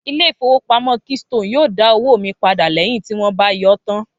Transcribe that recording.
Ilé ìfowópamọ́ keystone yóò dá owó mi padà lẹ́yìn tí wón bá yọọ́ tán